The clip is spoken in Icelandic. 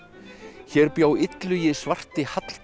hér bjó Illugi svarti